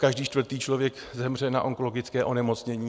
Každý čtvrtý člověk zemře na onkologické onemocnění.